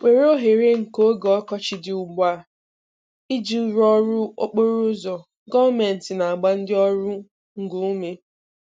WERE OHERE NKE OGE ỌKỌCHỊ DỊ UGBU A IJI RỤỌ ỌRỤ OKPORO ỤZỌ – GỌỌMENTỊ NA-AGBA NDỊ ỌRỤ NGO UME